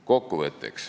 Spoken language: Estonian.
Kokkuvõtteks.